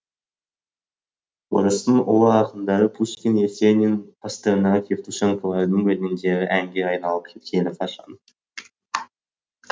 орыстың ұлы ақындары пушкин есенин евтушенколардың өлеңдері әнге айналып кеткелі қашан